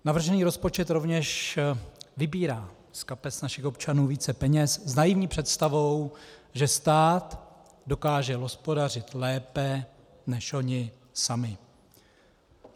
Navržený rozpočet rovněž vybírá z kapes našich občanů více peněz s naivní představou, že stát dokáže hospodařit lépe než oni sami.